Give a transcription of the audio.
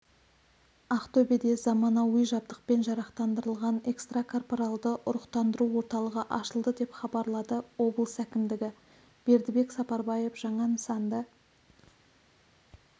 ақтөбеде заманауи жабдықпен жарақтандырылған экстрокорпаралды ұрықтандыру орталығы ашылды деп хабарлады облыс әкімдігі бердібек сапарбаев жаңа нысанды